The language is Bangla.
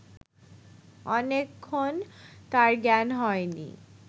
অনেকক্ষণ তাঁর জ্ঞান হয় নি